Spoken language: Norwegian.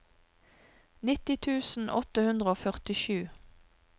nitti tusen åtte hundre og førtisju